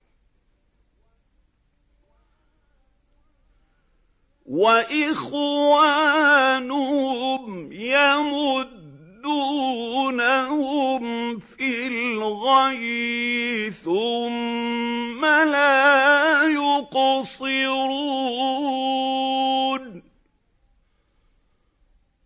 وَإِخْوَانُهُمْ يَمُدُّونَهُمْ فِي الْغَيِّ ثُمَّ لَا يُقْصِرُونَ